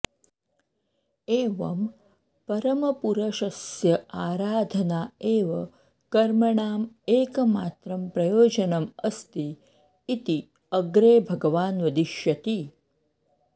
एवं परमपुरषस्य आराधना एव कर्मणाम् एकमात्रं प्रयोजनम् अस्ति इति अग्रे भगवान् वदिष्यति